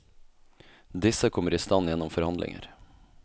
Disse kommer i stand gjennom forhandlinger.